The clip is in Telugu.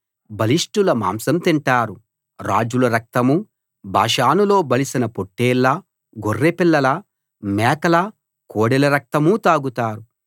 బలిష్టుల మాంసం తింటారు రాజుల రక్తమూ బాషానులో బలిసిన పొట్లేళ్ళ గొర్రెపిల్లల మేకల కోడెల రక్తమూ తాగుతారు